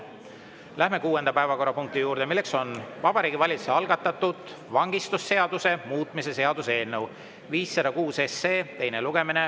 Läheme kuuenda päevakorrapunkti juurde, mis on Vabariigi Valitsuse algatatud vangistusseaduse muutmise seaduse eelnõu 506 teine lugemine.